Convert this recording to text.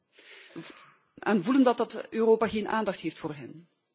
Zij voelen aan dat dat Europa geen aandacht heeft voor hen.